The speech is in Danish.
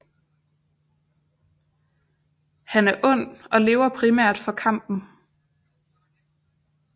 Han er ond og lever primært for kampen